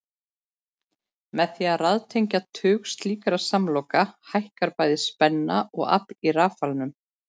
Með því að raðtengja tug slíkra samloka hækkar bæði spenna og afl í rafalanum.